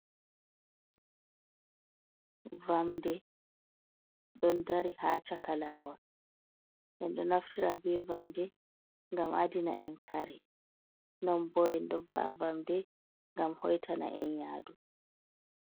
Vamde don dari ha caka lawol, en do naftira be vamde gam adina en kare non bo en do va’a vamde gam hoitana en yadu.